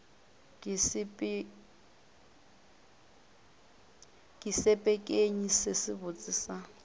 ke sepekenyi se sebotse sa